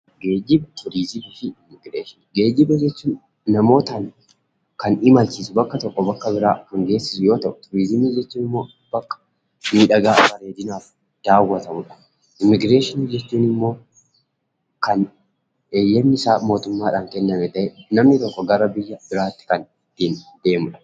Geejjiba, turizimii fi immigireeshinii. Geejjiba jechuun namoota kan imalchiisu bakka tokkoo bakka biraa kan geessisu yoo ta'u; turizimii jechuun immoo bakka miidhagaa bareedinaaf daawwatamuudha. Immigireeshinii jechuun immoo kan heeyyamni usaa mootummaan kenname ta'ee; namni tokko gara biyya biraatti kan deemuu dha.